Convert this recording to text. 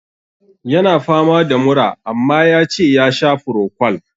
Ya na fama da mura, amma ya ce ya sha frocwal.